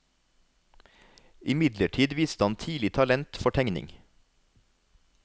Imidlertid viste han tidlig talent for tegning.